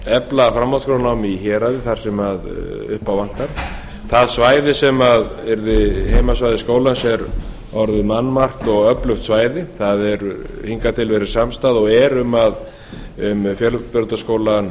efla framhaldsskólanám í héraði þar sem upp á vantar það svæði sem yrði heimasvæði skólans er orðið mannmargt og öflugt svæði það hefur hingað til verið samstaða og er um fjölbrautaskóla